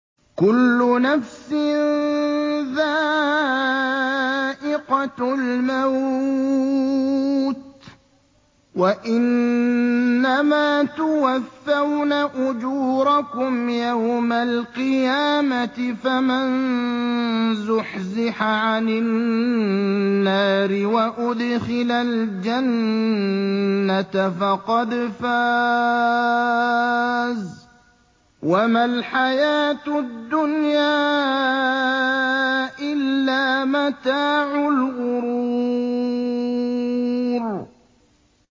كُلُّ نَفْسٍ ذَائِقَةُ الْمَوْتِ ۗ وَإِنَّمَا تُوَفَّوْنَ أُجُورَكُمْ يَوْمَ الْقِيَامَةِ ۖ فَمَن زُحْزِحَ عَنِ النَّارِ وَأُدْخِلَ الْجَنَّةَ فَقَدْ فَازَ ۗ وَمَا الْحَيَاةُ الدُّنْيَا إِلَّا مَتَاعُ الْغُرُورِ